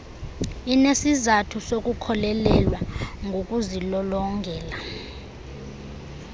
inesizathu sokukholelwa ngokuzilolongela